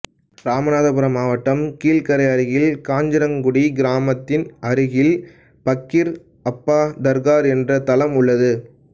இராமநாதபுரம் மாவட்டம் கீழ்க்கரை அருகில் காஞ்சிரக்குடி கிராமத்தின் அருகில் பக்கீர் அப்பா தர்ஹா என்ற தலம் உள்ளது